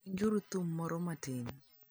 Winjuru thum moro matin.